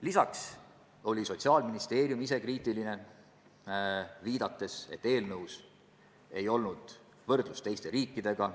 Lisaks oli ka Sotsiaalministeerium ise kriitiline, viidates, et eelnõu seletuskirjas ei ole võrdlust teiste riikidega.